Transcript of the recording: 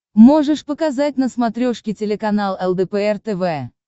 можешь показать на смотрешке телеканал лдпр тв